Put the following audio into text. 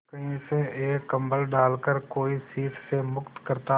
कहीं से एक कंबल डालकर कोई शीत से मुक्त करता